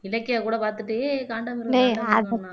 இலக்கியா கூட பாத்துட்டு ஹே காண்டாமிருகம்